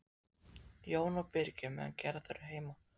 Jón og Birgir meðan Gerður er heima.